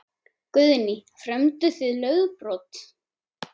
Guðný: Frömduð þið lögbrot?